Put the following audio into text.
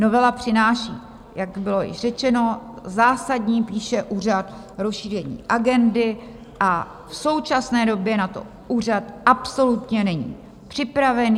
Novela přináší, jak bylo již řečeno, zásadní - píše úřad - rozšíření agendy a v současné době na to úřad absolutně není připravený.